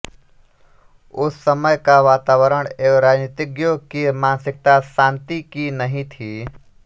उस समय का वातावरण एवं राजनीतिज्ञों की मानसिकता शांति की नहीं थी